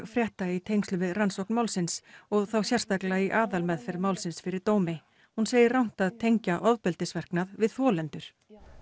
frétta í tengslum við rannsókn málsins og þá sérstaklega í aðalmeðferð málsins fyrir dómi hún segir rangt að tengja við þolendur